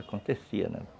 Acontecia, né?